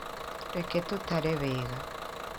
Reke tũtare wega.